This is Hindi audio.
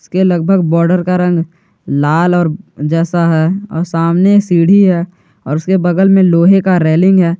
के लगभग बॉर्डर का रंग लाल और जैसा है और सामने सीढ़ी है और उसके बगल में लोहे का रेलिंग है।